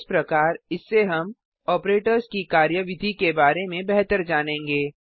इस प्रकार इससे हम ऑपरेटर्स की कार्यविधि के बारे में बेहतर जानेंगे